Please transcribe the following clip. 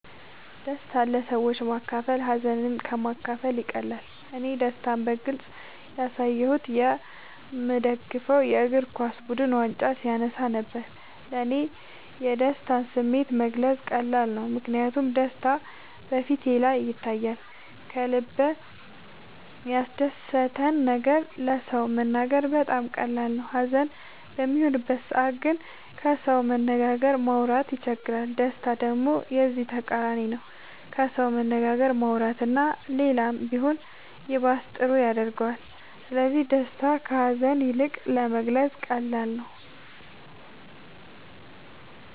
ደስታን ለሰዎች ማካፈል ሀዘንን ከ ማካፈል ይቀላል እኔ ደስታን በግልፅ ያሳየሁት የ ምደግፈው የ እግርኳስ ቡድን ዋንጫ ሲያነሳ ነበር። ለ እኔ የደስታን ስሜት መግለፅ ቀላል ነው ምክንያቱም ደስታ በ ፊቴ ላይ ይታያል ከልበ ያስደሰተን ነገር ለ ሰው መናገር በጣም ቀላል ነው ሀዘን በሚሆንበት ሰዓት ግን ከሰው መነጋገርም ማውራት ይቸግራል ደስታ ደሞ የዚ ተቃራኒ ነው ከሰው መነጋገር ማውራት እና ሌላም ቢሆን ይባስ ጥሩ ያረገዋል ስለዚ ደስታ ከ ሀዛን ይልቅ ለመግለፃ ቀላል ነው።